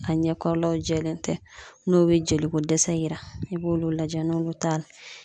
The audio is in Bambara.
A ɲɛ kɔrɔlaw jɛlen tɛ, n'o bɛ joliko dɛsɛ yira, i b'olu lajɛ n'olu t'a la.